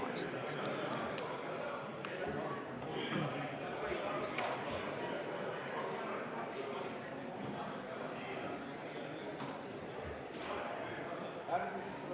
Austatud Riigikogu!